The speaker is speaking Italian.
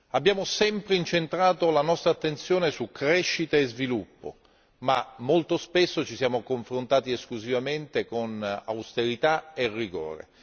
Abbiamo sempre incentrato la nostra attenzione su crescita e sviluppo, ma molto spesso ci siamo confrontati esclusivamente con austerità e rigore.